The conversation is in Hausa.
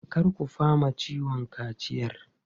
Kar ku fama ciwon kaciyar!